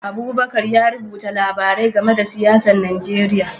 Abubakar ya rubuta labarai game da siyasar Najeriya